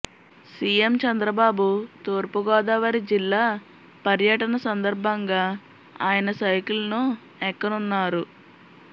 CM Chandrababu తూర్పు గోదావరి జిల్లా పర్యటన సందర్భంగా ఆయన సైకిల్ను ఎక్కనున్నారు